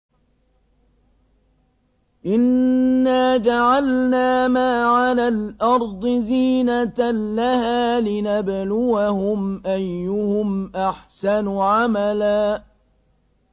إِنَّا جَعَلْنَا مَا عَلَى الْأَرْضِ زِينَةً لَّهَا لِنَبْلُوَهُمْ أَيُّهُمْ أَحْسَنُ عَمَلًا